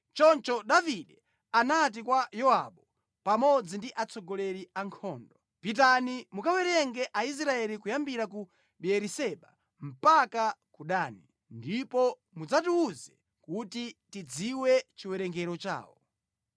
Choncho Davide anati kwa Yowabu pamodzi ndi atsogoleri a ankhondo, “Pitani mukawerenge Aisraeli kuyambira ku Beeriseba mpaka ku Dani. Ndipo mudzandiwuze kuti ndidziwe chiwerengero chawo.”